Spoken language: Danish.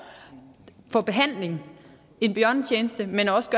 for behandling en bjørnetjeneste men også